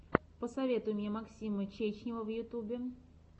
посоветуй мне максима чечнева в ютюбе